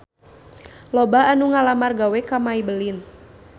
Loba anu ngalamar gawe ka Maybelline